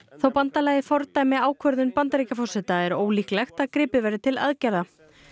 þótt bandalagið fordæmi ákvörðun Bandaríkjaforseta er ólíklegt að gripið verði til aðgerða